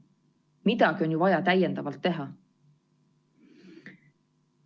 Midagi on ju vaja täiendavalt teha.